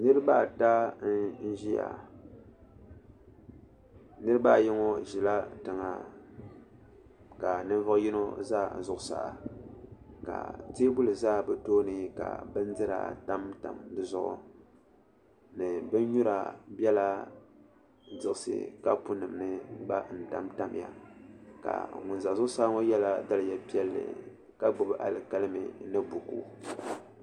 Nirabaata n ʒiya nirabaayi ŋo ʒila tiŋa ka ninvuɣu yino ʒɛ zuɣusaa ka teebuli ʒɛ bi tooni ka bindira tamtamya ni binnyura bɛla diɣisi kapu nim ni n tamtamya ka ŋun ʒɛ zuɣusaa ŋo yɛla daliya piɛlli ka gbubi alikalimi ni buku